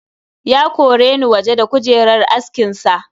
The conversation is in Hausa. Ya koreni waje da kujerar askin sa.